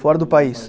Fora do país.